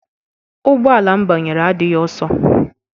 Ụgbọ ala m banyere adịghị ọsọ.